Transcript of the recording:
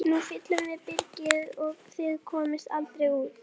Bogga og Þura höfðu ekki atkvæðisrétt í málinu.